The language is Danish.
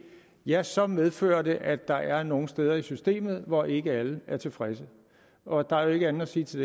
ja så medfører det at der er nogle steder i systemet hvor ikke alle er tilfredse der er jo ikke andet at sige til